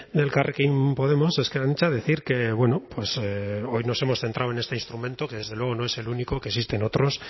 de elkarrekin podemos ezker anitza decir que bueno pues hoy nos hemos centrado en este instrumento que desde luego no es el único que existen otros